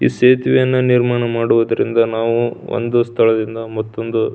ಈ ಸೇತುವೆಯನ್ನು ನಿರ್ಮಾಣ ಮಾಡುವುದರಿಂದ ನಾವು ಒಂದು ಸ್ಥಳದಿಂದ ಮತ್ತ್ತೊಂದು--